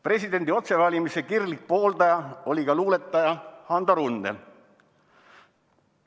Presidendi otsevalimiste kirglik pooldaja oli ka luuletaja Hando Runnel.